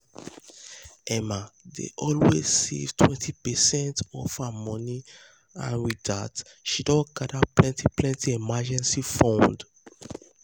emma dey always save 20 percent of her money and with that she don gather plenty plenty emergency fund.